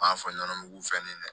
N m'a fɔ nɔnɔmugu fɛnnin ye dɛ